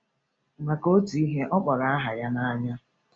Maka otu ihe, ọ kpọrọ aha ya n’anya.